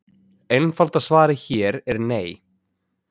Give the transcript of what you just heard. Einfalda svarið hér er nei.